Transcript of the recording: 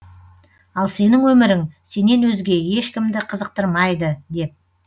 ал сенің өмірің сенен өзге ешкімді қызықтырмайды деп